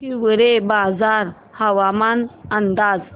हिवरेबाजार हवामान अंदाज